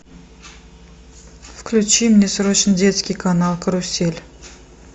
включи мне срочно детский канал карусель